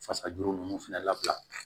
Fasajuru ninnu fana labila